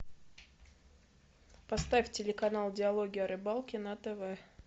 поставь телеканал диалоги о рыбалке на тв